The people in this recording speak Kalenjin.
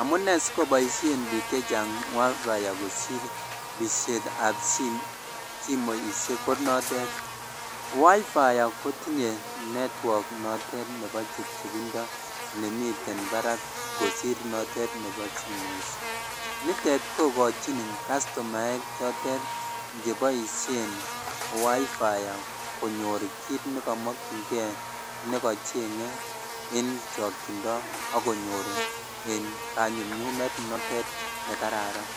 Amune sokoboisien biik chechang wifi kosir pishet ab simoishet ko notet, wifi kotinye network notet nebo chebchebindo nemiten barak kosir notet nebo simoishek, nitet kogochin kastomaek chotet cheboisien [cs[wifi konyor kiit nekomokyingen, nekochenge en chokyindo ak konyor en kanyumnyumet notet nekararan,